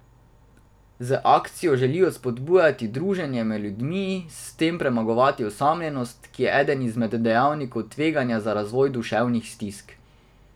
Z akcijo želijo spodbujati druženje med ljudmi in s tem premagovati osamljenost, ki je eden izmed dejavnikov tveganja za razvoj duševnih stisk.